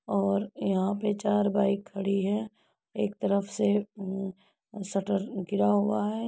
और यहाँ पे चार बाइक खड़ी है। एक तरफ से उ शटर गिरा हुआ है।